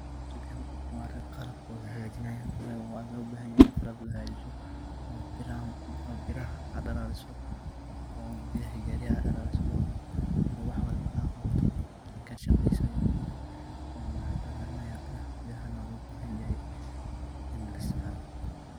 Ninkan wa arin qhalb wahakajenayeen wa lo bahanyahay lahakajeeyoh oo beeraha oo beera dalalisoh oo ketha hoosi dalalisoh oo wax walba AA Qawatoh wayo ninkan waxu dalalinaya beerahan oo lo bahanyahay in la isticmaloh.